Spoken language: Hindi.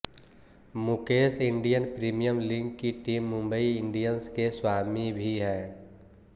मुकेश इंडियन प्रीमियर लीग की टीम मुंबई इंडियंस के स्वामी भी हैं